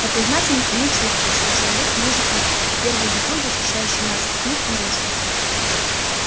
подсознательно они чувствуют что человек ниже их а первый закон защищающий нас от них нарушен